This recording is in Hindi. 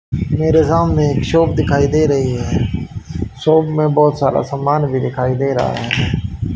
मेरे सामने एक शॉप दिखाई दे रही है शॉप में बहुत सारा समान भी दिखाई दे रहा है।